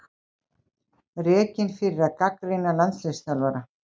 Rekinn fyrir að gagnrýna landsliðsþjálfara